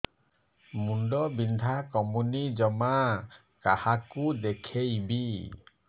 ମୁଣ୍ଡ ବିନ୍ଧା କମୁନି ଜମା କାହାକୁ ଦେଖେଇବି